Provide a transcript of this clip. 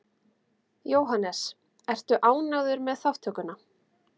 Jóhannes: Ertu ánægður með þátttökuna?